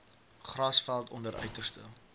grasveld onder uiterste